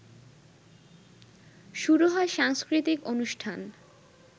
শুরু হয় সাংস্কৃতিক অনুষ্ঠান